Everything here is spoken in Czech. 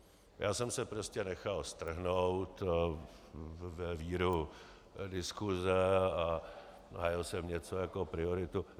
Já jsem se prostě nechal strhnout ve víru diskuse a hájil jsem něco jako prioritu.